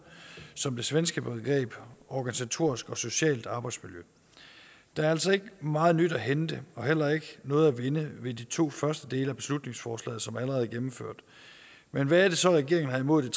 som det svenske begreb organisatorisk og socialt arbejdsmiljø der er altså ikke meget nyt at hente og heller ikke noget at vinde ved de to første dele af beslutningsforslaget som allerede er gennemført men hvad er det så regeringen har imod